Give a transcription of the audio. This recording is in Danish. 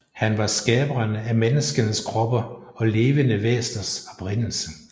Han var skaberen af menneskenes kroppe og levendes væsners oprindelse